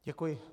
Děkuji.